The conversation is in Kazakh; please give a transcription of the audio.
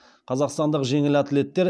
қазақстандық жеңіл атлеттер